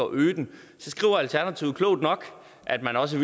øge den så skriver alternativet klogt nok at man også